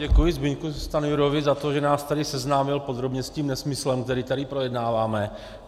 Děkuji Zbyňku Stanjurovi za to, že nás tady seznámil podrobně s tím nesmyslem, který tady projednáváme.